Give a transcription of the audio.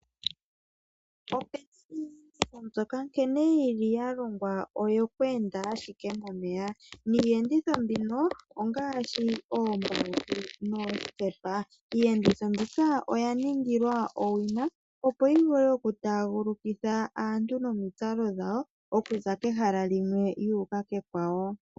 Opena iiyenditho mbyoka nkene ya longwa oyo ku enda ashike momeya, niiyenditho mbino ongaashi oombautu noosikepa. Iiyenditho mbika oya ningilwa owina opo yi vule okutaagulukitha aantu nomitsalo dhawo, okuza kehala limwe ya uka kekwawo.